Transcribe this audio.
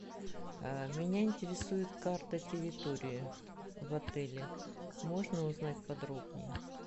меня интересует карта территории в отеле можно узнать подробнее